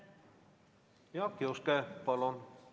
Jaak Juske, palun!